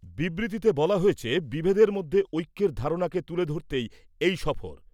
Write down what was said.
বিবৃতিতে বলা হয়েছে , বিভেদের মধ্যে ঐক্যের ধারণাকে তুলে ধরতেই এই সফর।